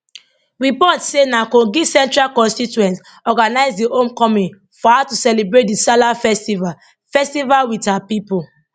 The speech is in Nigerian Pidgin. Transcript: reports say na kogi central constituents organise di homecoming for her to celebrate di salah festival festival wit her pipo